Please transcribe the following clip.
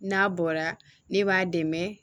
N'a bɔra ne b'a dɛmɛ